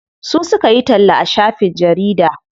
Su suka yi talla a shafin jarida.